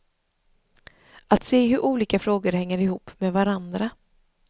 Att se hur olika frågor hänger ihop med varandra.